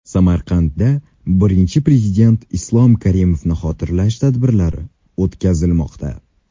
Samarqandda Birinchi Prezident Islom Karimovni xotirlash tadbirlari o‘tkazilmoqda.